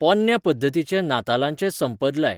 पोन्न्या पध्दतीचे नातालांचें संपद लाय